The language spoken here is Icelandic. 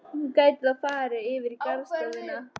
Hún gæti þá farið yfir í garðstofuna.